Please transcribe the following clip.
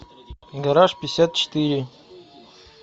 гараж пятьдесят четыре